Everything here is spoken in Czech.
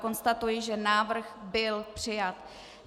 Konstatuji, že návrh byl přijat.